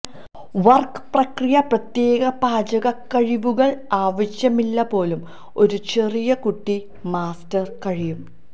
work പ്രക്രിയ പ്രത്യേക പാചക കഴിവുകൾ ആവശ്യമില്ല പോലും ഒരു ചെറിയ കുട്ടി മാസ്റ്റര് കഴിയും